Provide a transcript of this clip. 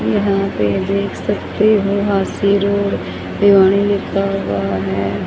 यहां पे देख सकते हो हांसी रोड विवानी लिखा हुआ है।